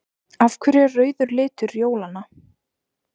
Af hverju er rauður litur jólanna?